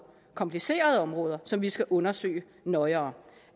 komplicerede områder som vi skal undersøge nøjere